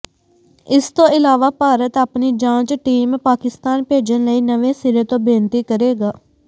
ਇਸ ਤੋਂ ਇਲਾਵਾ ਭਾਰਤ ਆਪਣੀ ਜਾਂਚ ਟੀਮ ਪਾਕਿਸਤਾਨ ਭੇਜਣ ਲਈ ਨਵੇਂ ਸਿਰੇ ਤੋਂ ਬੇਨਤੀ ਕਰੇਗਾ